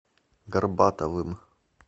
горбатовым